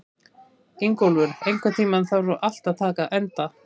Ingólfur, einhvern tímann þarf allt að taka enda.